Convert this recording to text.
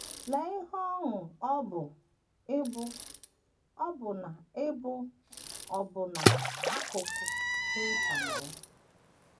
Lee ihe ọṅụ ọ bụ ịbụ ọbụna ịbụ ọbụna akụkụ dị nta na ya!